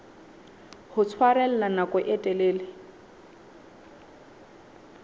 ho tshwarella nako e telele